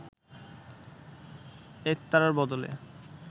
একতারার বদলে